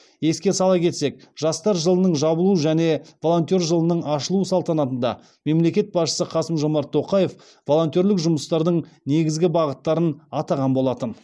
еске сала кетсек жастар жылының жабылу және волонтер жылының ашылу салтанатында мемлекет басшысы қасым жомарт тоқаев волонтерлік жұмыстардың негізгі бағыттарын атаған болатын